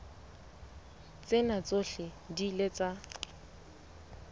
tsena tsohle di ile tsa